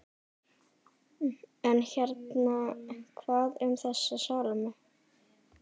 En hérna- hvað um þessa Salóme?